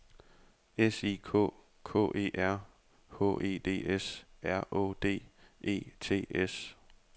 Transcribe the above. S I K K E R H E D S R Å D E T S